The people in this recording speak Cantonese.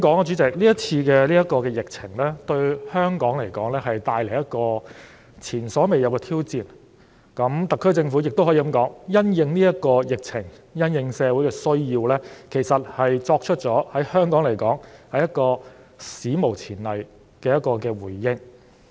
主席，這次疫情為香港帶來一個前所未有的挑戰，而特區政府因應這次疫情及社會的需要，也作出了史無前例的回應。